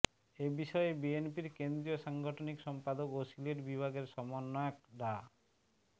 এ বিষয়ে বিএনপির কেন্দ্রীয় সাংগঠনিক সম্পাদক ও সিলেট বিভাগের সমন্বয়ক ডা